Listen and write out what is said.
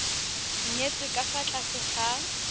nyetswe ka fa tlase ga